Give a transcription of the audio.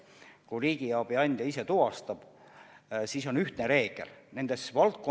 Kui riigiabi andja ise tuvastab, siis on tal selleks olemas ühtne reegel.